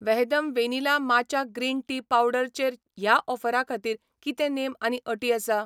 वहदम vanilla matcha green tea powder चेर ह्या ऑफरा खातीर कितें नेम आनी अटी आसा ?